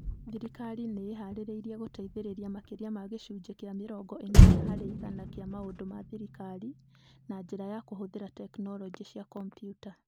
Thirikari nĩ ĩĩhaarĩirie gũteithĩrĩria makĩria ma gĩcunjĩ kĩa mĩrongo ĩnana harĩ igana kĩa maũndũ ma thirikari na njĩra ya kũhũthĩra tekinolonjĩ cia kompiuta.